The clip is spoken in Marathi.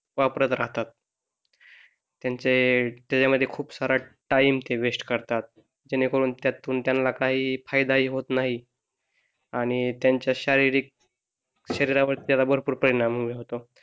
वापरात राहतात त्यांचे त्याच्यामध्ये खूप साऱ्या टाइम ते वेस्ट करतात जेणे करून त्यांना काही फायदा हि होत नाही. आणि त्यांच्या शारीरिक शरीरावर त्याचा भरपूर परिणाम होतो.